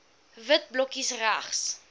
wit blokkies regs